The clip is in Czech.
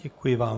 Děkuji vám.